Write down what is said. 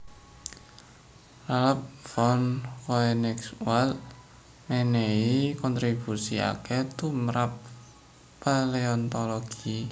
Ralph von Koenigswald mènèhi kontribusi akèh tumrap paleontologi